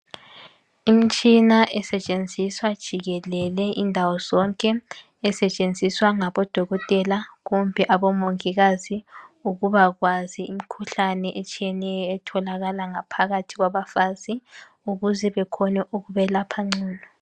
Imitshina esetshenziswa jikelele indawo zonke, esetshenziswa ngabodokotela kumbe abomongikazi ukubakwazi imikhuhlane etshiyeneyo etholakala ngaphakathi kwabafazi ukuze bekhone ukubelapha ngcono.